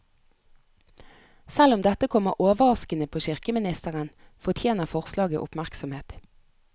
Selv om dette kommer overraskende på kirkeministeren, fortjener forslaget oppmerksomhet.